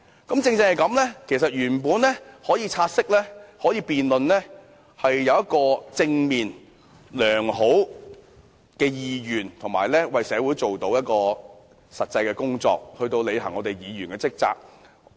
由此可見，就"察悉議案"進行辯論背後是有正面、良好意願的，可以為社會做些實際工作，履行議員的職責。